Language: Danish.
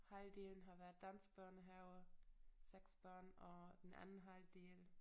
Halvdelen har været dansk børnehave 6 børn og den anden halvdel